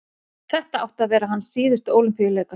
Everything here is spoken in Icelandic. þetta áttu að vera hans síðustu ólympíuleikar